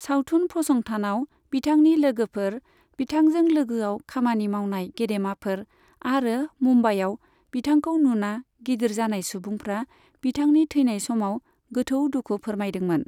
सावथुन फसंथानाव बिथांनि लोगोफोर, बिथांजों लोगोआव खामानि मावनाय गेदेमाफोर आरो मुम्बाइआव बिथांखौ नुना गिदिर जानाय सुबुंफ्रा बिथांनि थैनाय समाव गोथौ दुखु फोरमायदोंमोन।